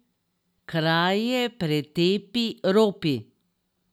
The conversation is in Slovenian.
Kraje, pretepi, ropi.